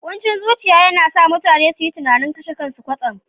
Kuncin zuciya yana sa mutane su yi tunanin kashe kansu kwatsam.